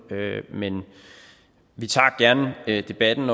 men vi tager gerne debatten